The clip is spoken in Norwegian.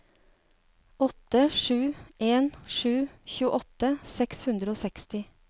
åtte sju en sju tjueåtte seks hundre og seksti